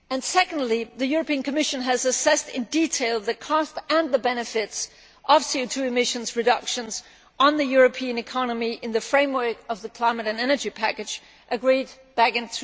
Secondly, the European Commission has assessed in detail the costs and benefits of CO 2 emission reductions on the European economy in the framework of the Climate and Energy package agreed back in